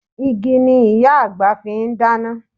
Igi ni Ìyá àgbà fi ń dáná